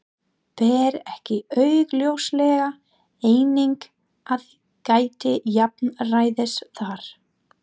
Ber ekki augljóslega einnig að gæta jafnræðis þar?